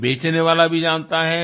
ये बेचने वाला भी जानता है